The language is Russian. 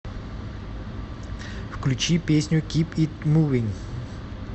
включи песню кип ит мувин